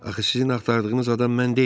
Axı sizin axtardığınız adam mən deyiləm.